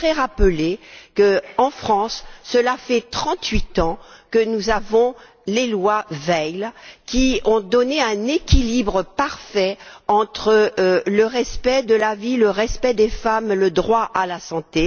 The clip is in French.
Je voudrais rappeler que, en France, cela fait trente huit ans que nous avons les lois Veil, qui ont assuré un équilibre parfait entre le respect de la vie, le respect des femmes et le droit à la santé.